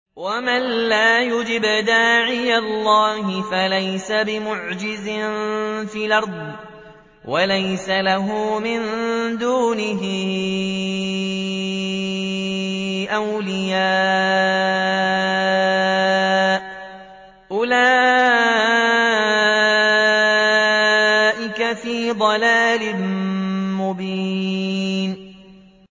وَمَن لَّا يُجِبْ دَاعِيَ اللَّهِ فَلَيْسَ بِمُعْجِزٍ فِي الْأَرْضِ وَلَيْسَ لَهُ مِن دُونِهِ أَوْلِيَاءُ ۚ أُولَٰئِكَ فِي ضَلَالٍ مُّبِينٍ